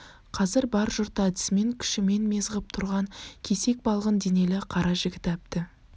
қазір бар жұртты әдісімен күшімен мез ғып тұрған кесек балғын денелі кара жігітәбді